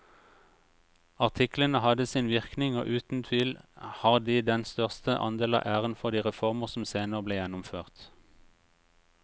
Artiklene hadde sin virkning og uten tvil har de den største andel av æren for de reformer som senere ble gjennomført.